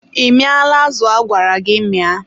ị mịala azụ agwara gị mịa?